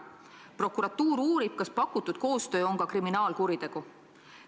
Prokuratuur uurib, kas pakutud koostöö on ka kriminaalkuritegu.